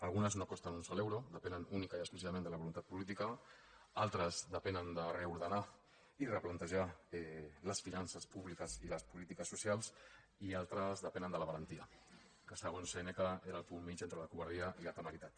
algunes no costen un sol euro depenen únicament i exclusivament de la voluntat política altres depenen de reordenar i replantejar les finances públiques i les polítiques socials i altres depenen de la valentia que segons sèneca era el punt mitjà entre la covardia i la temeritat